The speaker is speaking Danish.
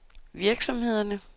virksomhederne